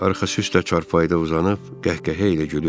Arxa üstə çarpayıda uzanıb qəhqəhə ilə gülür.